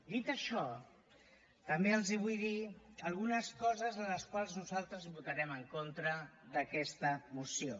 dit això també els vull dir algunes coses a les quals nosaltres votarem en contra d’aquesta moció